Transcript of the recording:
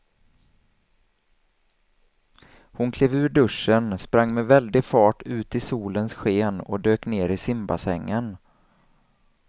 Hon klev ur duschen, sprang med väldig fart ut i solens sken och dök ner i simbassängen.